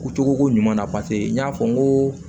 U cogoko ɲuman na paseke n y'a fɔ n ko